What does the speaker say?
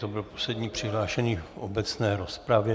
To byl poslední přihlášený v obecné rozpravě.